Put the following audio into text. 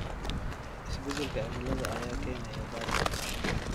Isbeddelka cimilada ayaa keenaya daad.